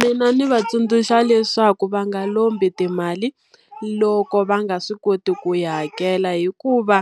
Mina ndzi va tsundzuxa leswaku va nga lombi timali loko va nga swi koti ku yi hakela hikuva,